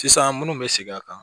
Sisan munnu be segin a kan